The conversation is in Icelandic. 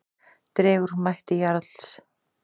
Dregur úr mætti Jarls